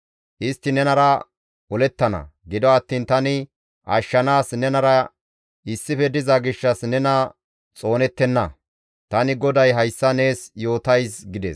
Istti nenara olettana; gido attiin tani ashshanaas nenara issife diza gishshas nena xoonettenna. Tani GODAY hayssa nees yootays» gides.